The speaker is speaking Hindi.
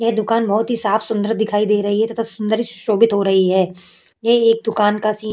यह दुकान बहोत ही साफ सुंदर दिखाई दे रही है तथा सुंदर सुशोभित हो रही है। ये एक दुकान का सीन --